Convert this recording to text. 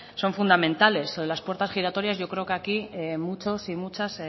son fundamentales las puertas giratorias yo creo que aquí muchos y muchas